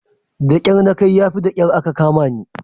Da kyar na kai yafi da kyar aka kamani.